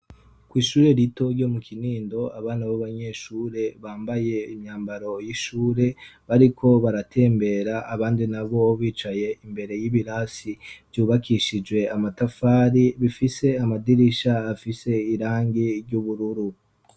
Ko 'ishure rito ryo mu kinindo abana b'abanyeshure bambaye imyambaro y'ishure bariko baratembera abandi na bo bicaye imbere y'ibirasi vyubakishijwe amatafari bifise amadirisha afise irangi ry'ubururu.